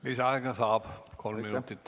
Lisaaega saab, kolm minutit.